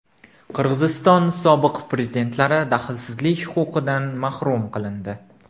Qirg‘iziston sobiq prezidentlari daxlsizlik huquqidan mahrum qilindi.